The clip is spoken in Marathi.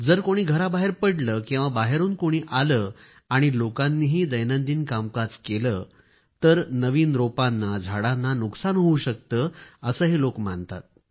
जर कोणी घराबाहेर पडले किंवा बाहेरून कोणी आले आणि लोकांनीही दैनंदिन कामकाज केले तर नवीन रोपांनाझाडांना नुकसान होवू शकते असं हे लोक मानतात